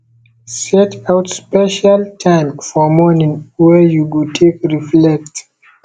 set out special time for morning wey you go take reflect